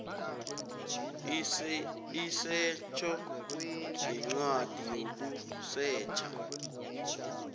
isetjho ngencwadi yokusetjha